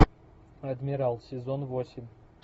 адмирал сезон восемь